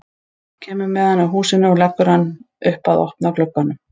Kemur með hann að húsinu og leggur hann upp að opna glugganum.